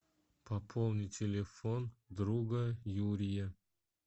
пополни телефон друга юрия